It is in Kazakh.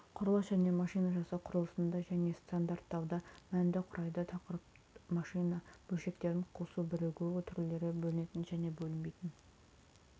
құрылыс машина жасау құрылысында және стандарттауда мәнді құрайды тақырып машина бөлшектерін қосу бірігу түрлері бөлінетін және бөлінбейтін